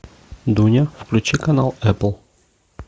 дуня включи канал эпл